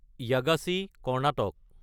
Yagachi (Karnataka)